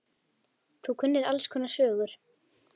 Þú kunnir alls konar sögur.